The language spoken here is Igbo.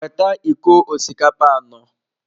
Weta iko osikapa anọ.